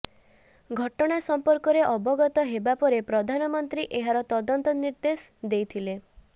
ଘଟଣା ସଂପର୍କରେ ଅବଗତ ହେବା ପରେ ପ୍ରଧାନମନ୍ତ୍ରୀ ଏହାର ତଦନ୍ତ ନିର୍ଦ୍ଦେଶ ଦେଇଥିଲେ